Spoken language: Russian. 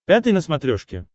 пятый на смотрешке